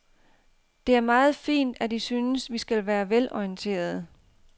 Det er meget fint, at I synes, vi skal være velorienterede.